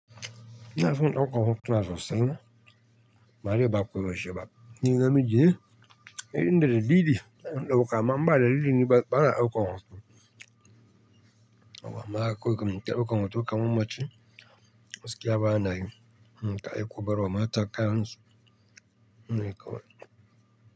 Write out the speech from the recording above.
Ina son ɗaukar hotuna sosai amma dai ba ko yaushe ba Ni namiji ne, inda da daliki ina ɗauka, amma inba da dalili ni bana ɗaukolar hoto. Haba ma koda yaushe mun ta ɗaukar hoto kamar mace, gaskiya ba na yi, mun ta yi kuɓero, mata kai kayan su, shine kawai.